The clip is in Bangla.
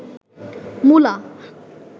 মুলা